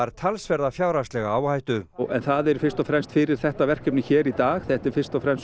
talsverða fjárhagslega áhættu en það er fyrst og fremst fyrir þetta verkefni hér í dag þetta er fyrst og fremst